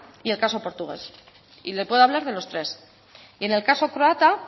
y el caso portugués y le puedo hablar de los tres y en el caso croata